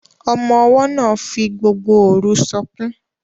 Ọmọ-ọwọ́ náà fi gbogbo òru sọkún